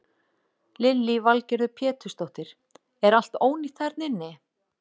Lillý Valgerður Pétursdóttir: Er allt ónýtt þarna inni?